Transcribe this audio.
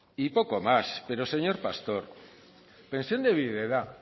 y poco más pero señor pastor pensión de viudedad